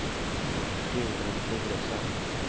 Gudrun Turesson